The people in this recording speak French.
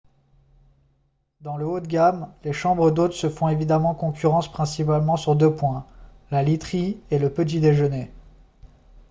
dans le haut de gamme les chambres d'hôtes se font évidemment concurrence principalement sur deux points la literie et le petit déjeuner